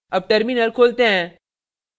अब terminal खोलते हैं